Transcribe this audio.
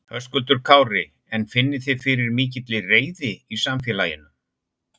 Höskuldur Kári: En finnið þið fyrir mikilli reiði í samfélaginu?